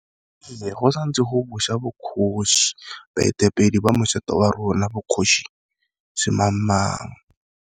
Go sa ntse go busa bokgosi baetapele ba moshate wa rona bokgosi se mang mang.